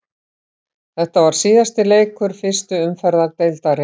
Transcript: Þetta var síðasti leikur fyrstu umferðar deildarinnar.